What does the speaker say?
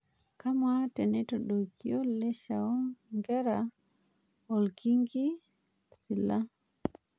Kamaa keitodokio leshao enkerai orkingi Sila